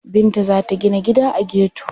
Binta za ta gina gida a geto.